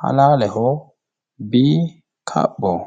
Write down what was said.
halaaleho B, kaphoho.